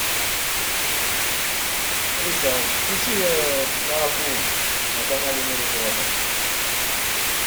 алиса включи про акул на канале в мире животных